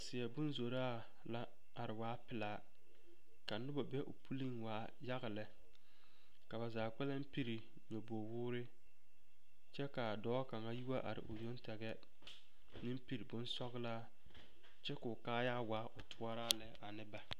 Seɛbonzoraa la are waa pelaa ka noba be o puliŋ waa yaga lɛ ka ba zaa kpɛlɛŋ piri nyɔbogwoore kyɛ k,a dɔɔ kaŋa yi wa are o yoŋ tɛgɛ meŋ piri bonsɔglaa kyɛ k,o kaayaa waa o toɔraa lɛ ane ba.